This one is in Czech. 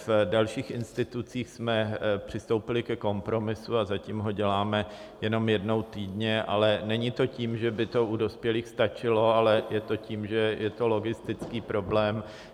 V dalších institucích jsme přistoupili ke kompromisu a zatím ho děláme jenom jednou týdně, ale není to tím, že by to u dospělých stačilo, ale je to tím, že je to logistický problém.